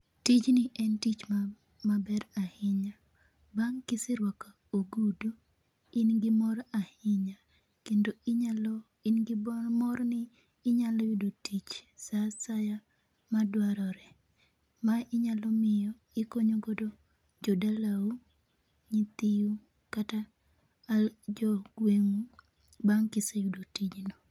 Tijni en tich maber ahinya. Bang' kiseruako ogudu in gi mor ahinya. Kendo inyalo in gi mor ni inyalo yudo tich saa asaya madwarore, ma inyalo miyo ikonyogo jodalau, nyithiu kata jo gweng'u bang' ka iseyudo tijno.